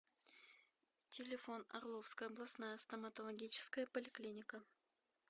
телефон орловская областная стоматологическая поликлиника